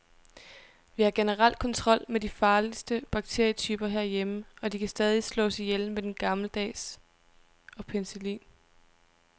Vi har generelt kontrol over de farligste bakterietyper herhjemme, og de kan stadig slås ihjel med den gammeldags og penicillin.